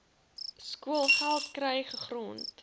skoolgeld kry gegrond